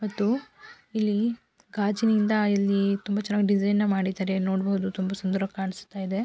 ಮತ್ತು ಇಲ್ಲಿ ಗಾಜಿನಿಂದ ಇಲ್ಲಿ ತುಂಬಾ ಚೆನ್ನಾಗಿ ಡಿಸೈನ್ ನ ಮಾಡಿದ್ದಾರೆ. ನೋಡಬಹುದು ತುಂಬಾ ಸುಂದರವಾಗಿ ಕಾಣಿಸ್ತಾ ಇದೆ.